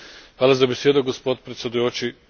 Hvala za besedo, gospod predsedujoči.